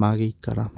magĩikara.